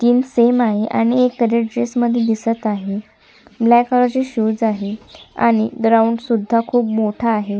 तीन सेम आहे आणि एक रेड ची ड्रेस मध्ये दिसत आहे ब्लॅक कलर चे शूज आहेत आणि ग्राउंड सुद्धा खूप मोठा आहे.